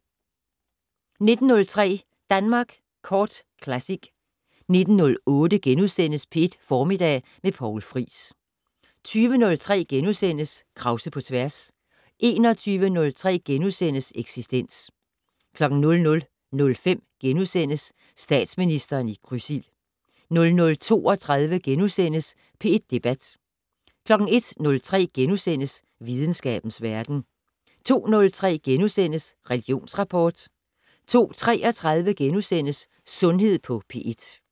19:03: Danmark Kort Classic 19:08: P1 Formiddag med Poul Friis * 20:03: Krause på tværs * 21:03: Eksistens * 00:05: Statsministeren i krydsild * 00:32: P1 Debat * 01:03: Videnskabens Verden * 02:03: Religionsrapport * 02:33: Sundhed på P1 *